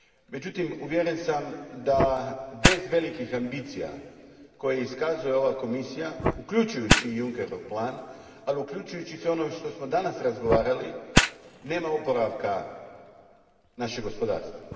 Međutim, uvjeren sam da bez velikih ambicija koje iskazuje ova Komisija, uključujući i Junckerov plan, ali uključujući i sve ono o čemu smo danas razgovarali, nema oporavka našeg gospodarstva.